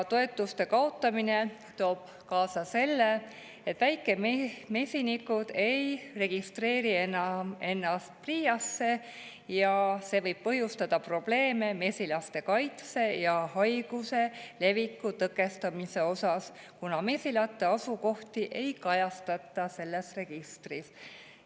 Toetuste kaotamine toob kaasa selle, et väikemesinikud ei registreeri enam ennast PRIA‑sse, ja see võib põhjustada probleeme mesilaste kaitsega ja haiguste leviku tõkestamise osas, kuna mesilate asukohti ei kajastata selles registris.